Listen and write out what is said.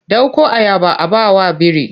Ɗauko ayaba a ba wa biri!